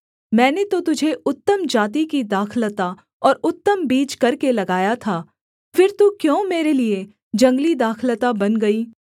मैंने तो तुझे उत्तम जाति की दाखलता और उत्तम बीज करके लगाया था फिर तू क्यों मेरे लिये जंगली दाखलता बन गई